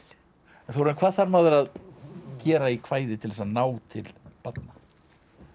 Þórarinn hvað þarf maður að gera í kvæði til að ná til barna